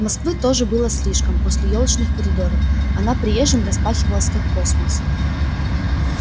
москвы тоже было слишком после ёлочных коридоров она приезжим распахивалась как космос